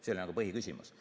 See oli nagu põhiküsimus.